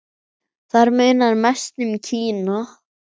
Þar munar mest um Kína.